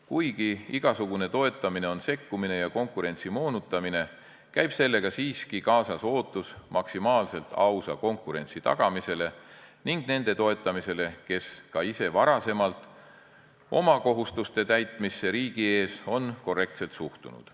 Kuigi igasugune toetamine on sekkumine ja konkurentsi moonutamine, käib sellega siiski kaasas ootus, et tagatakse maksimaalselt aus konkurents ning toetatakse neid, kes ka ise varem oma kohustuste täitmisesse riigi ees on korrektselt suhtunud.